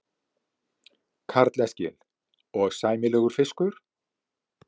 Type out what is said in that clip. Karl Eskil: Og sæmilegur fiskur?